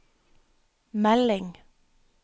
melding